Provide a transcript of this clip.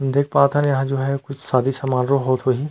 देख पात हन यहाँ जो है कुछ सादी समारोह होत होही।